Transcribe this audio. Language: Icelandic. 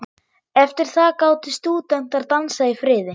Eftir það gátu stúdentar dansað í friði.